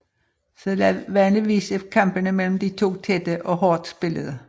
Sædvanligvis er kampene mellem de to tætte og hårdt spillede